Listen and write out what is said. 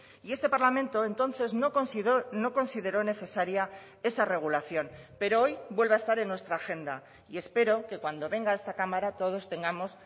y este parlamento entonces no consideró necesaria esa regulación pero hoy vuelve a estar en nuestra agenda y espero que cuando venga a esta cámara todos tengamos